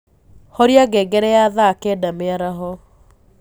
horĩa ngengere ya thaa kenda mĩaraho